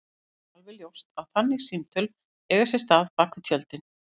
Það er alveg ljóst að þannig símtöl eiga sér stað bak við tjöldin.